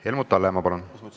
Helmut Hallemaa, palun!